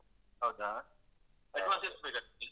ಹೌದಾ advance ಎಷ್ಟು ಬೇಕಾಗ್ತದೆ?